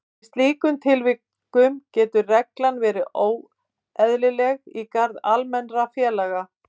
Í slíkum tilvikum getur reglan verið óeðlileg í garð almennra félaga.